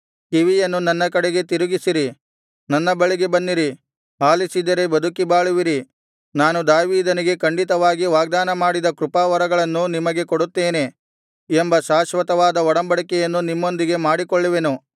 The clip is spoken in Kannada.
ಕಿವಿಯನ್ನು ನನ್ನ ಕಡೆಗೆ ತಿರುಗಿಸಿರಿ ನನ್ನ ಬಳಿಗೆ ಬನ್ನಿರಿ ಆಲಿಸಿದರೆ ಬದುಕಿ ಬಾಳುವಿರಿ ನಾನು ದಾವೀದನಿಗೆ ಖಂಡಿತವಾಗಿ ವಾಗ್ದಾನಮಾಡಿದ ಕೃಪಾವರಗಳನ್ನು ನಿಮಗೆ ಕೊಡುತ್ತೇನೆ ಎಂಬ ಶಾಶ್ವತವಾದ ಒಡಂಬಡಿಕೆಯನ್ನು ನಿಮ್ಮೊಂದಿಗೆ ಮಾಡಿಕೊಳ್ಳುವೆನು